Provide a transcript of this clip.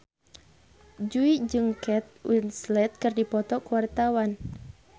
Jui jeung Kate Winslet keur dipoto ku wartawan